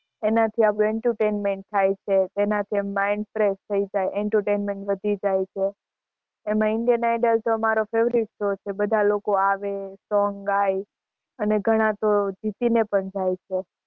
એનાથી આપણું entertainment થાય છે, એનાથી આમ mind fresh થઈ જાય entertainment વધી જાય છે એમાં indian idol તો મારો favorite show છે બધાં લોકો આવે song ગાય અને ઘણાં તો જીતી ને પણ જાય છે.